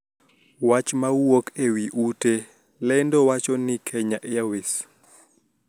Wach ma wuok e ute lendo wachoni Kenya Airways